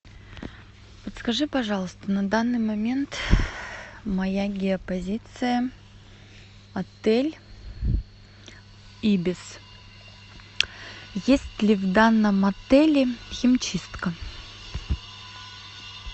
подскажи пожалуйста на данный момент моя геопозиция отель ибис есть ли в данном отеле химчистка